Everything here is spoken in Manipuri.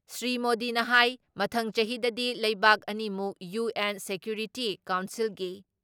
ꯁ꯭ꯔꯤ ꯃꯣꯗꯤꯅ ꯍꯥꯏ ꯃꯊꯪ ꯆꯍꯤꯗꯗꯤ ꯂꯩꯕꯥꯛ ꯑꯅꯤꯃꯛ ꯌꯨ.ꯑꯦꯟ ꯁꯦꯀ꯭ꯌꯨꯔꯤꯇꯤ ꯀꯥꯎꯟꯁꯤꯜꯒꯤ